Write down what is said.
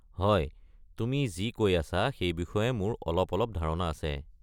হয়, তুমি যি কৈ আছা সেই বিষয়ে মোৰ অলপ অলপ ধাৰণা আছে।